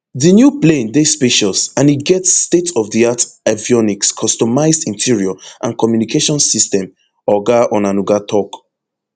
di new plane dey spacious and e get stateofdiart avionics customized interior and communications system oga onanuga tok